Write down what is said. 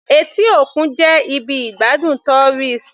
Etí òkun jẹ́ ibi ìgbádùn tourist.